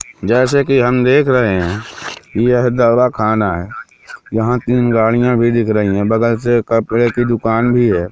जैसे कि हम देख रहे है यह दवा खाना है यहां तीन गाड़िया भी दिख रही हैं बगल से कपड़े की दुकान भी हैं।